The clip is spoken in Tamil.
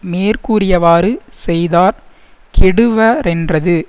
மேற்கூறியவாறு செய்தார் கெடுவரென்றது